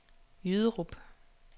Jyderup